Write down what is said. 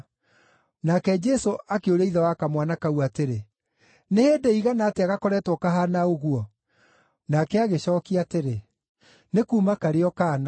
Nake Jesũ akĩũria ithe wa kamwana kau atĩrĩ, “Nĩ hĩndĩ ĩigana atĩa gakoretwo kahaana ũguo?” Nake agĩcookia atĩrĩ, “Nĩ kuuma arĩ o kaana.